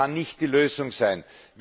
Das kann nicht die Lösung sein.